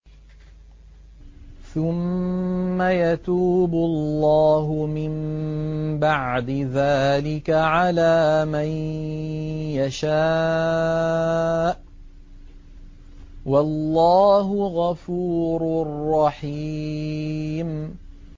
ثُمَّ يَتُوبُ اللَّهُ مِن بَعْدِ ذَٰلِكَ عَلَىٰ مَن يَشَاءُ ۗ وَاللَّهُ غَفُورٌ رَّحِيمٌ